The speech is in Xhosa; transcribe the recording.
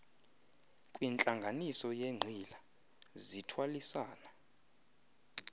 kwintlanganiso yenqila sithwalisana